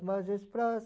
margens